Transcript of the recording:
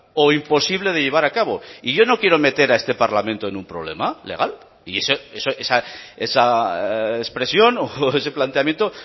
o imposible de llevar a cabo y yo no quiero meter a este parlamento en un problema legal y esa expresión o ese planteamiento